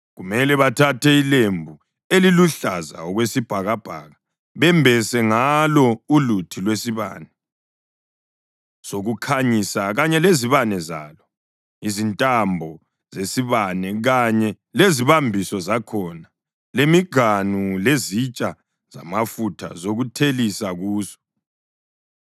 Kumele bathathe ilembu eliluhlaza okwesibhakabhaka bembese ngalo uluthi lwesibane sokukhanyisa, kanye lezibane zalo, izintambo zesibane kanye lezibambiso zakhona, lemiganu, lezitsha zamafutha zokuthelisa kuso.